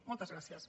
moltes gràcies